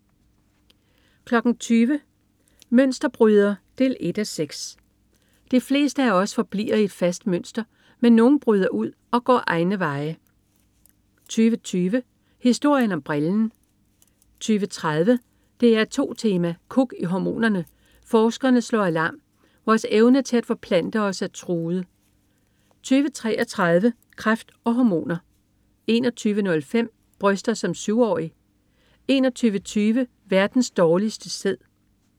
20.00 Mønsterbryder 1:6. De fleste af os forbliver i et fastlagt mønster, men nogle bryder ud og går egne veje 20.20 Historien om brillen 20.30 DR2 Tema: Kuk i hormonerne. Forskerne slår alarm: Vores evne til at forplante os er truet 20.33 Kræft og hormoner 21.05 Bryster som syvårig 21.20 Verdens dårligste sæd